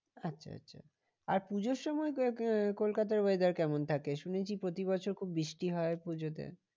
আচ্ছা আচ্ছা আর পুজোর সময় কলকাতার weather কেমন থাকে? শুনেছি প্রতিবছর খুব বৃষ্টি হয় পুজোতে।